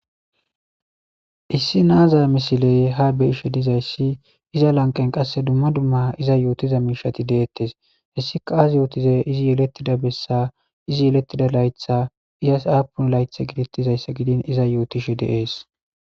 issi naazaya misiley ha beishe dizayssi iza lanqen qasse dumma dumma iza yootiza miishati deettes hessika as yootize izi yelettida bessa izi yelettida laytha iasaapun laytha giditizayssa gidin iza yootishe de'es